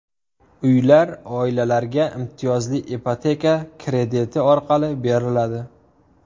Uylar oilalarga imtiyozli ipoteka krediti orqali beriladi.